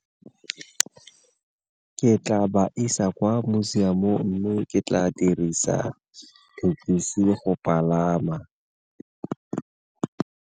Ke tla ba isa kwa museum-ong mme ke tla dirisa thekisi go palama.